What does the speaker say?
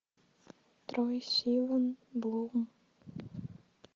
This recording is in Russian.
трой сиван блум